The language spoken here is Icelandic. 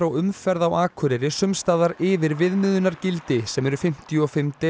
umferð á Akureyri sums staðar yfir viðmiðunargildi sem eru fimmtíu og fimm